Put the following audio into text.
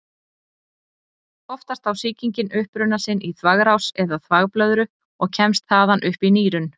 Oftast á sýkingin uppruna sinn í þvagrás eða þvagblöðru og kemst þaðan upp í nýrun.